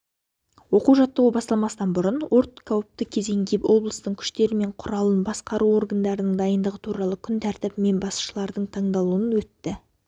оқу-жаттығу басталмастан бұрын өрт қауіпті кезеңге облыстың күштері мен құралдарын басқару органдарының дайындығы туралы күн тәртібімен басшылардың тыңдалуы өтті